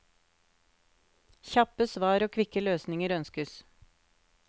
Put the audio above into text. Kjappe svar og kvikke løsninger ønskes.